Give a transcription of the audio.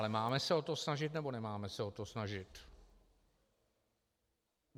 Ale máme se o to snažit, nebo nemáme se o to snažit?